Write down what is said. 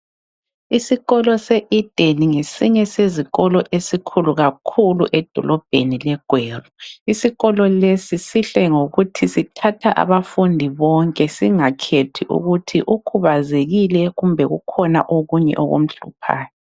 Isikolo seEden ngesinye sezikolo esikhulu kakhulu edolobheni leGweru. Isikolo lesi sihle ngokuthi sithatha abafundi bonke. Singakhethi ukuthi ukhubazekile, kumbe kukhona okunye okumhluphayo.